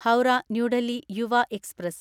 Howrah new Delhi Yuva express